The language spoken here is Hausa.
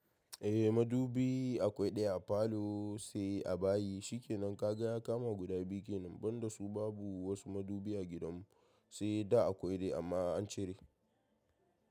Eh madubi akwai ɗaya a falo sai a bayi, shi kenan kaga ya kama guda biyu kenan, ban da su babu wasu madubi a gidan mu, sai da akwai dai amma an cire.